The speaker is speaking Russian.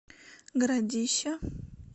городища